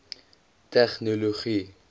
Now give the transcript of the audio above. tegnologie